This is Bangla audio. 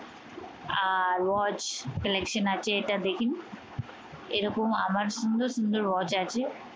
আর watch collection আছে। এটা দেখে নিন। এরকম আমার সুন্দর সুন্দর watch আছে।